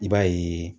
I b'a ye